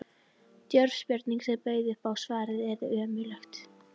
Djörf spurning, sem bauð upp á að svarað yrði önuglega.